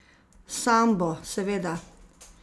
Sambo, seveda!